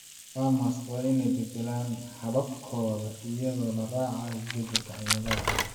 Farmers waa in ay bedelaan hababkooda iyadoo la raacayo isbedelka cimilada.